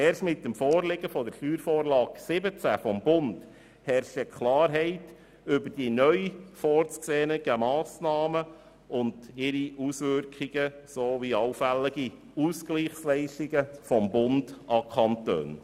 Erst mit der SV17 des Bundes herrscht Klarheit über die neu vorzusehenden Massnahmen und ihre Auswirkungen sowie allfällige Ausgleichsleistungen des Bundes an die Kantone.